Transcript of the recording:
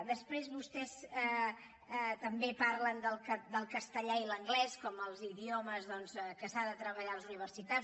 després vostès també parlen del castellà i l’anglès com els idiomes doncs que s’han de treballar a les universitats